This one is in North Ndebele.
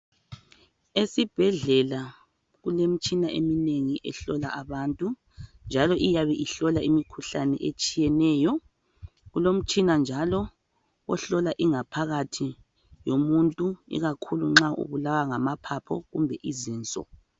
Esibhedlela kulemitshina eminengi ehlola abantu njalo iyabe ihlola imikhuhlane etshiyeneyo. Kulomtshina njalo ohlola ingaphakathi yomuntu ikakhulu nxa ubulawa ngamaphapho kumbe izinso.